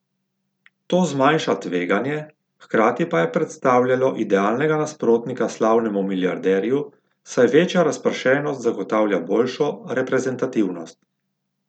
To zmanjša tveganje, hkrati pa je predstavljajo idealnega nasprotnika slavnemu milijarderju, saj večja razpršenost zagotavlja boljšo reprezentativnost.